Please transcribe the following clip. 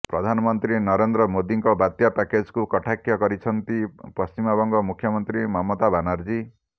ପ୍ରଧାନମନ୍ତ୍ରୀ ନରେନ୍ଦ୍ର ମୋଦୀଙ୍କ ବାତ୍ୟା ପ୍ୟାକେଜକୁ କଟାକ୍ଷ କରିଛନ୍ତି ପଶ୍ଚିମବଙ୍ଗ ମୁଖ୍ୟମନ୍ତ୍ରୀ ମମତା ବାନାର୍ଜୀ